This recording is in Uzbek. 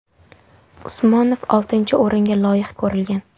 Usmonov oltinchi o‘ringa loyiq ko‘rilgan.